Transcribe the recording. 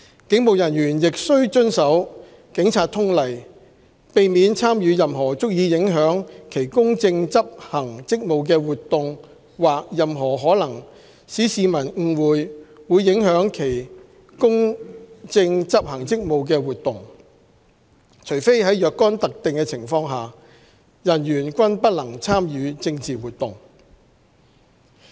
警務人員亦須遵守《警察通例》，避免參與任何足以影響其公正執行職務的活動或任何可能使市民誤會會影響其公正執行職務的活動，除非在若干特定情況下，人員均不能參與政治活動。